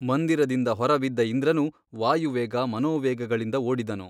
ಮಂದಿರದಿಂದ ಹೊರಬಿದ್ದ ಇಂದ್ರನು ವಾಯುವೇಗ ಮನೋವೇಗಗಳಿಂದ ಓಡಿದನು.